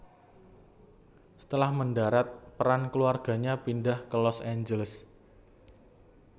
Setelah mendarat peran keluarganya pindah ke Los Angeles